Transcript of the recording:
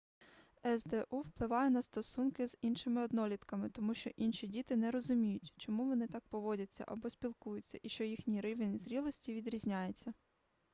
сду впливає на стосунки з іншими однолітками тому що інші діти не розуміють чому вони так поводяться або спілкуються і що їхній рівень зрілості відрізняється